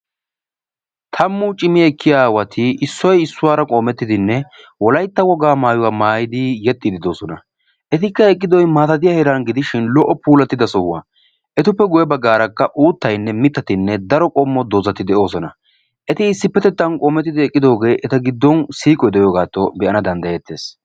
Tammu cimi ekkiya aawati issoy issuwara qoomettidinne wolaytta wogaa maayuwa maayidi yexxiidde de'oosona. Etikka eqqidoy maatatiya heeran gidishin lo''o puulattida sohuwa. Etuppe guye baggaarakka uttaynne mittati daro qommo doozati de'oosona. Eti issippetettan qoomettidi eqqidoogee eta giddo siiqoy de'iyogaattoo be'ana danddayeettees.